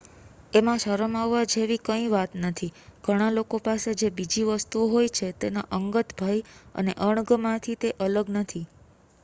એમાં શરમ આવવા જેવી કઇં વાત નથી ઘણા લોકો પાસે જે બીજી વસ્તુઓ હોય છે તેના અંગત ભય અને અણગમાથી તે અલગ નથી